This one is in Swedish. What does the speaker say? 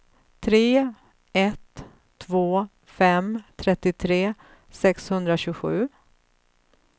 tre ett två fem trettiotre sexhundratjugosju